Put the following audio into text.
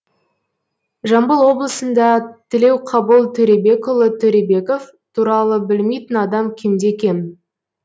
жамбыл облысында тілеуқабыл төребекұлы төребеков туралы білмейтін адам кемде кем